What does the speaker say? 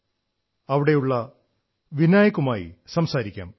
കേരളത്തിലെ യുവാവുമായി സംസാരിക്കാം